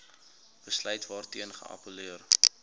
besluit waarteen geappelleer